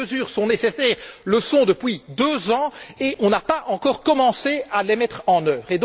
Ces mesures sont nécessaires depuis deux ans et nous n'avons pas encore commencé à les mettre en œuvre.